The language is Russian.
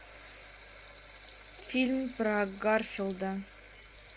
фильм про гарфилда